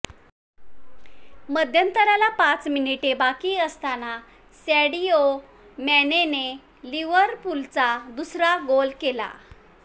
मध्यंतराला पाच मानिटे बाकी असताना सॅडिओ मॅनेने लिव्हरपूलचा दुसरा गोल केला